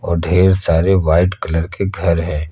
और ढेर सारे व्हाइट कलर के घर हैं।